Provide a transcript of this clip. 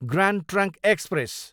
grand trunk express